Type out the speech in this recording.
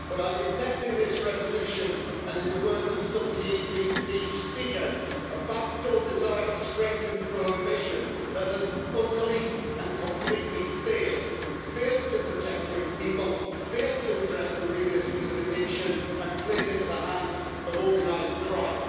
However, I detect in this resolution, and in the words of some of the PPE Group speakers, a backdoor desire to strengthen prohibition and that has utterly and completely failed failed to protect young people, failed to address the real issues of addiction, and played into the hands of organised crime.